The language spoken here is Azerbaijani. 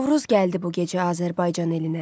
Novruz gəldi bu gecə Azərbaycan elinə.